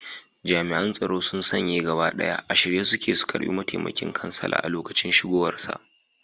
Jami'an tsaro sun sanye gaba ɗaya, a shirye suke su karbi mataimakin kansala a lokacin isowarsa.